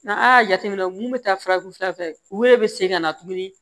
N'an y'a jateminɛ mun bɛ taa farafin fura fɛ u yɛrɛ bɛ segin ka na tuguni